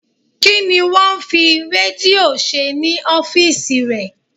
Kí ni wón ń fi Rédíò ṣe ní ọ́fíìsì rẹ?